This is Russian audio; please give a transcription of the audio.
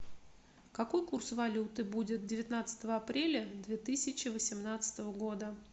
какой курс валюты будет девятнадцатого апреля две тысячи восемнадцатого года